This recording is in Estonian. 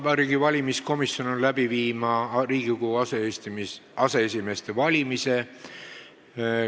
Vabariigi Valimiskomisjon on valmis läbi viima Riigikogu aseesimeeste valimise.